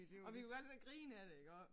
Og vi kan jo godt sidde og grine af det iggå